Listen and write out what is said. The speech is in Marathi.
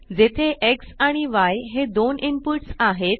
जेथे Xआणि य हे दोन इनपुट्स आहेत